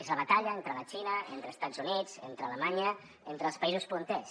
és la batalla entre la xina entre estats units entre alemanya entre els països punters